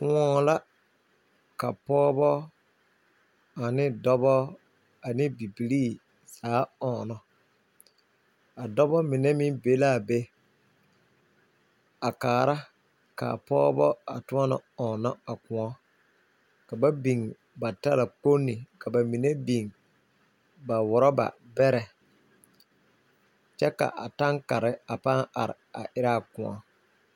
Kʋɔ la ka pɔgba, dɔba ane Bibiire ɔŋnɔ. Ba biŋla talakpoŋne ane ɔrɔba bɛrɛ kyɛ ka lɔre are ne kʋɔ